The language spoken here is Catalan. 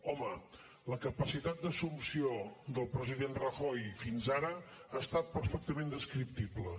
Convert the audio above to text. home la capacitat d’assumpció del president rajoy fins ara ha estat perfectament descriptible